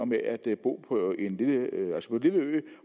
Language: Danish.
med at bo på en lille ø